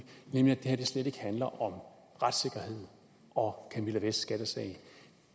nemlig at det her slet ikke handler om retssikkerhed og camilla vests skattesag